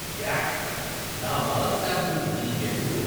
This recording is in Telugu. యాక్. నా మలం శాంపిల్ మీకెందుకు?